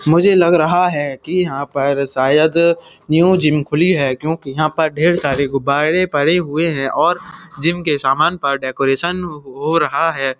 मुझे लग रहा है कि यहाँ पर शायद न्यू जिम खुली है क्योंकि यहाँ पर ढ़ेर सारे गुब्बारे पड़े हुए हैं और जिम के सामान पार डेकोरेशन हो रहा है।